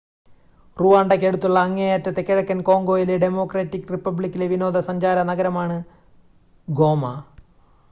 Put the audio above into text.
റുവാണ്ടയ്ക്കടുത്തുള്ള അങ്ങേയറ്റത്തെ കിഴക്കൻ കോംഗോയിലെ ഡെമോക്രാറ്റിക് റിപ്പബ്ലിക്കിലെ വിനോദസഞ്ചാര നഗരമാണ് ഗോമ